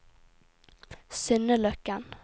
Synne Løkken